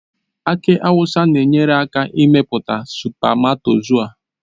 Aki awụsa na-enyere aka na mmepụta spamatozua.